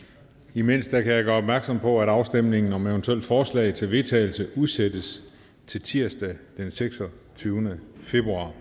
imens kan jeg gøre opmærksom på at afstemningen om eventuelle forslag til vedtagelse udsættes til tirsdag den seksogtyvende februar